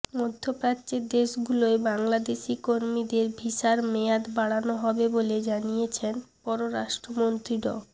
মধ্যপ্রাচ্যের দেশগুলোয় বাংলাদেশি কর্মীদের ভিসার মেয়াদ বাড়ানো হবে বলে জানিয়েছেন পররাষ্ট্রমন্ত্রী ড